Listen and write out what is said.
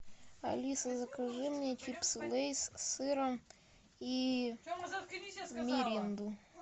алиса закажи мне чипсы лейс с сыром и миринду